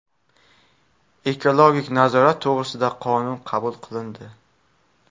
Ekologik nazorat to‘g‘risida qonun qabul qilindi.